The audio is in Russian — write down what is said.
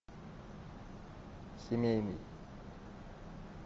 семейный